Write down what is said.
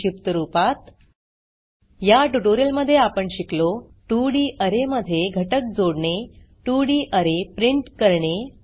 संक्षिप्त रूपात या ट्यूटोरियल मध्ये आपण शिकलो 2डी अरे मध्ये घटक जोडणे 2डी अरे प्रिंट करणे